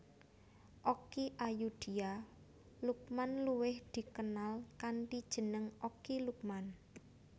Okky Ayudhia Lukman luwih dikenal kanthi jeneng Okky Lukman